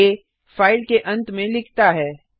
आ -file के अंत में लिखता है